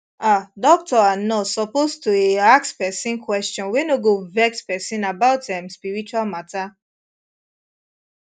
ah doctor and nurse suppose toeh ask pesin question wey no go vex pesin about em spiritual matter